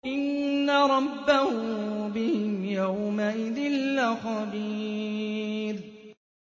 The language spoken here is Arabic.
إِنَّ رَبَّهُم بِهِمْ يَوْمَئِذٍ لَّخَبِيرٌ